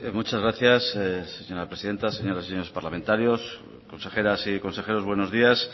muchas gracias señora presidenta señoras y señores parlamentarios consejeras y consejeros buenos días